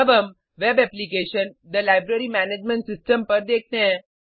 अब हम web application - the library management system पर देखते हैं